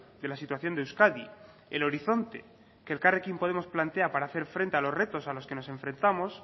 de la situación de euskadi el horizonte que elkarrekin podemos plantea para hacer frente a los retos a los que nos enfrentamos